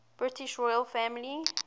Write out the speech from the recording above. british royal family